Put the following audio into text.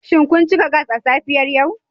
Shin kun cika gas a safiyar yau?